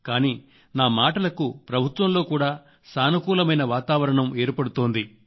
కానీ నా మాటలకు ప్రభుత్వంలో కూడా సానుకూలమైన వాతావరణం ఏర్పడుతోంది